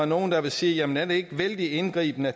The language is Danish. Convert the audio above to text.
nogle der ville sige jamen er det ikke vældig indgribende at